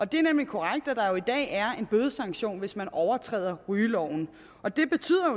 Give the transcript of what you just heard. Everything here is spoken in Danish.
det er nemlig korrekt at der i dag er en bødesanktion hvis man overtræder rygeloven